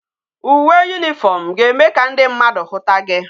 Uwe uniform ga eme ka ndi mmadu huta gi